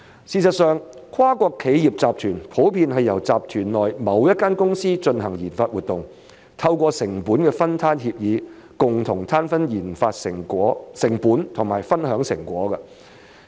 事實上，跨國企業集團普遍是由集團內某一間公司進行研發活動，透過成本分攤協議，共同攤分研發成本和分享成果。